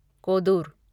Kodur